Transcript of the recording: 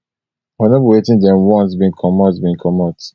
but no be wetin dem want bin comot bin comot